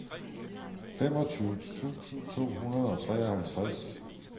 femogtyve tusind to hundrede og treoghalvtreds